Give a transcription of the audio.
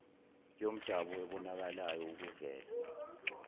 yomdabu ebonakalayo ukuvela